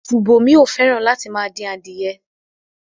Ṣùbòmí ò fẹ́ràn láti máa dín adìẹ.